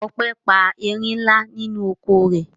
Ope pa erin ńlá nínú oko rẹ̀.